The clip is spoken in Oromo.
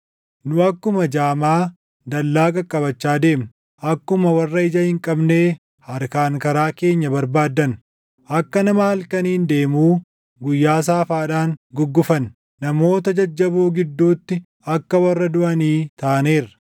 Nu akkuma jaamaa dallaa qaqqabachaa deemna; akkuma warra ija hin qabnee harkaan karaa keenya barbaaddanna. Akka nama halkaniin deemuu guyyaa saafaadhaan guggufanne; namoota jajjaboo gidduutti akka warra duʼanii taaneerra.